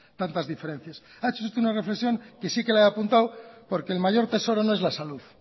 tantas diferencias ha hecho usted una reflexión que sí que la he apuntado porque el mayor tesoro no es la salud